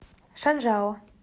шанжао